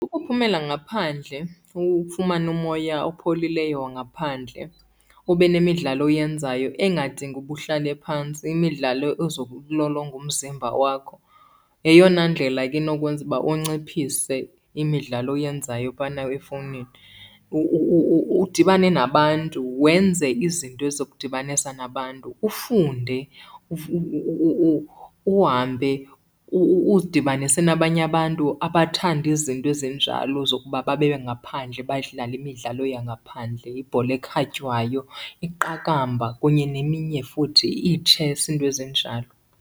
Ukuphumela ngaphandle ufumane umoya opholileyo wangaphandle, ube nemidlalo oyenzayo engadingi uba uhlale phantsi, imidlalo ezokulolonga umzimba wakho. Yeyona ndlela ke inokwenza uba unciphise imidlalo oyenzayo phana efowunini. Udibane nabantu wenze izinto ezizokudibanisa nabantu. Ufunde, uhambe uzidibanise nabanye abantu abathanda izinto ezinjalo zokuba babe ngaphandle badlale imidlalo yangaphandle, ibhola ekhatywayo, iqakamba kunye neminye futhi, ii-chess, iinto ezinjalo.